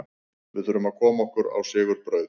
Við þurfum að koma okkur á sigurbraut.